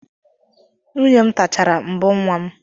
Nwunye m tachara mbọ nwa